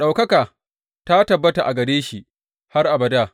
Ɗaukaka ta tabbata a gare shi har abada!